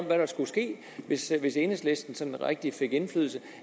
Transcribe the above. hvad der skulle ske hvis enhedslisten rigtig fik indflydelse